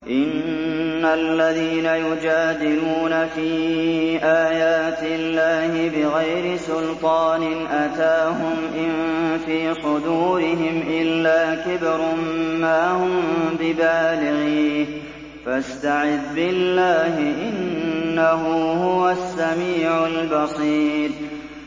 إِنَّ الَّذِينَ يُجَادِلُونَ فِي آيَاتِ اللَّهِ بِغَيْرِ سُلْطَانٍ أَتَاهُمْ ۙ إِن فِي صُدُورِهِمْ إِلَّا كِبْرٌ مَّا هُم بِبَالِغِيهِ ۚ فَاسْتَعِذْ بِاللَّهِ ۖ إِنَّهُ هُوَ السَّمِيعُ الْبَصِيرُ